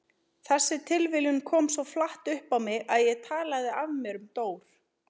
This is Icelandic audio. Þessi tilviljun kom svo flatt upp á mig að ég talaði af mér um Dór.